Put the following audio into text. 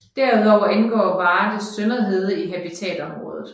Derudover indgår Varde Sønderhede i habitatområdet